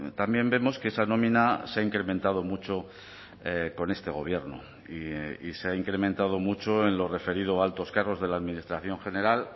también vemos que esa nómina se ha incrementado mucho con este gobierno y se ha incrementado mucho en lo referido a altos cargos de la administración general